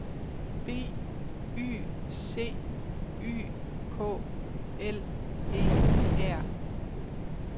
B Y C Y K L E R